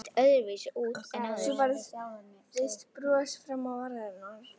Svo færðist bros fram á varirnar.